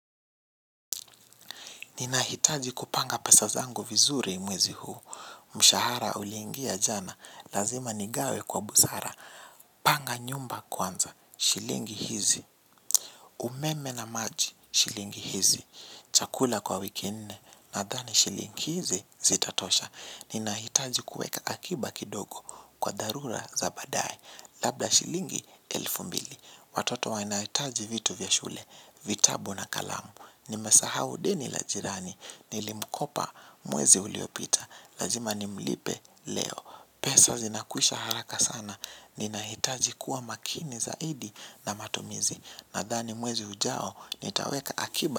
Ninahitaji kupanga pesa zangu vizuri mwezi huu. Mshahara uliingia jana. Lazima nigawe kwa busara. Panga nyumba kwanza. Shilingi hizi. Umeme na maji. Shilingi hizi. Chakula kwa wiki ne. Nadhani shilingi hizi zitatosha. Ninahitaji kueka akiba kidogo. Kwa dharura za badai. Labda shilingi elfu mbili. Watoto wanahitaji vitu vya shule. Vitabu na kalamu. Nimesahau deni la jirani. Nilimukopa mwezi uliopita. Lazima nimlipe leo. Pesa zinakuisha haraka sana. Ninahitaji kuwa makini zaidi na matumizi. Nadhani mwezi ujao nitaweka akiba.